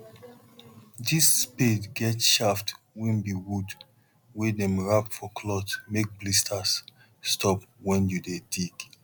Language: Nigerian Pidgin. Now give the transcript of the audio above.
this spade get shaft wey be wood wey dem wrap for cloth make blisters stop when you dey dig